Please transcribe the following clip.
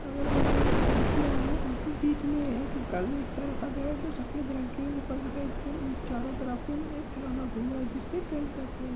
अगल बगल खिड़कियाँ है बीच में एक गलदस्ता रखा गया है जो सफ़ेद रंग के ऊपर के साइड पे चारो तरफ पे एक खिलौना घूम रहा है जिससे ट्रेन कहते हैं ।